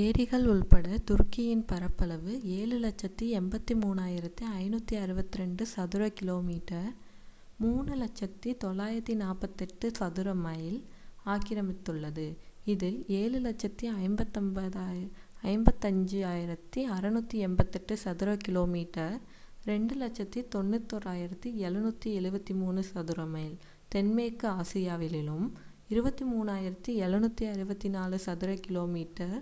ஏரிகள் உட்பட துருக்கியின் பரப்பளவு 7,83,562 சதுர கிலோமீட்டர் 3,00,948 சதுர மைல் ஆக்கிரமித்துள்ளது இதில் 7,55,688 சதுர கிலோமீட்டர் 2,91,773 சதுர மைல் தென்மேற்கு ஆசியாவிலும் 23,764 சதுர கிலோமீட்டர்